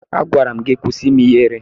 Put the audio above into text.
Agwara m gị kwụsị ime ihere!